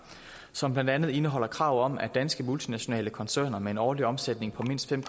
som blandt andet indeholder krav om at danske multinationale koncerner med en årlig omsætning på mindst fem